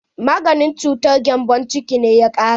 Maganin cutar gembon ciki na ya ƙare.